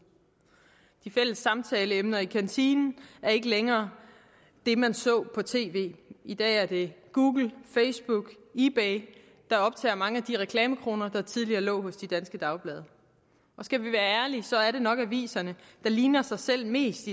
de fælles samtaleemner i kantinen er ikke længere det man så på tv i dag er det google facebook ebay der optager mange af de reklamekroner der tidligere lå hos de danske dagblade skal vi være ærlige er det nok aviserne der ligner sig selv mest